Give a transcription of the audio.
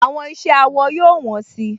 Àwọn iṣẹ́ awọ yóò wọ́n si